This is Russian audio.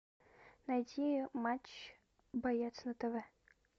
найти матч боец на тв